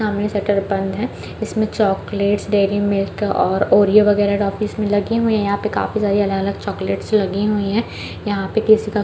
सामने शटर बंद है इसमें चॉक्लेट डेरी मिल्क और ओरीओ वगेरा टोफ्फिएस लगी हुई है यहाँ पे काफी सारे अलग-अलग चॉक्लेट लगी हुई है यहाँ पे किसी का--